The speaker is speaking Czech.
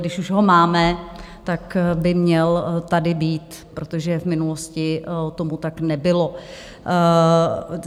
Když už ho máme, tak by měl tady být, protože v minulosti tomu tak nebylo.